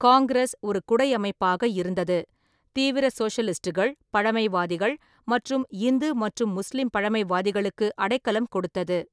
காங்கிரஸ் ஒரு குடை அமைப்பாக இருந்தது, தீவிர சோஷலிஸ்டுகள், பழமைவாதிகள் மற்றும் இந்து மற்றும் முஸ்லீம் பழமைவாதிகளுக்கு அடைக்கலம் கொடுத்தது.